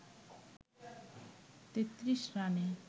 ৩৩ রানে